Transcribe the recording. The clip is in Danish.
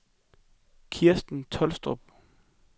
Kirsten Tolstrup